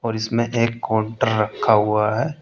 और इसमें एक काउंटर रखा हुआ है।